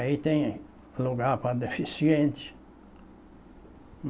Aí tem lugar para deficiente.